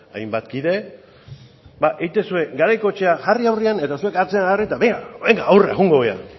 eako hainbat kide ba egiten zuen garaikoetxea jarri aurrean eta zuen atzean jarri eta benga aurrera joango gara